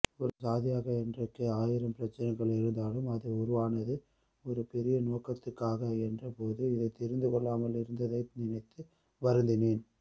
ஒரு சாதியாக இன்றைக்கு ஆயிரம் பிரச்சினைகள் இருந்தாலும் அது உருவானது ஒரு பெரிய நோக்கத்துக்காக என்றபோது இதைத்தெரிந்துகொள்ளாமலிருந்ததை நினைத்து வருந்தினேன்